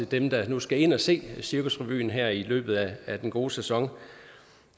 dem der nu skal ind og se cirkusrevyen her i løbet af den gode sæson